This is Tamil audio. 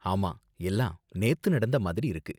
ஆமா, எல்லாம் நேத்து நடந்த மாதிரி இருக்கு.